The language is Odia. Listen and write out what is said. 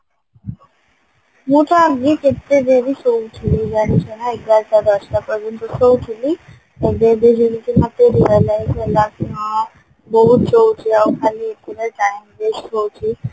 ମୁ ତ ଆଗେ କେତେ ଡେରି ଶୋଉଥିଲି ଜାଣିଛନା ଏଗାରଟା ଦଶଟା ପର୍ଯ୍ୟନ୍ତ ଶୋଉଥିଲି ଏବେ ଏବେ ହଁ ବଉ ବୁଝଉଛି ଆଉ ଖାଲି ଏତେଗୁଡାଏ time waste ହଉଛି